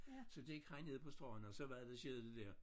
Så gik han ned på stranden og så var det det skete det der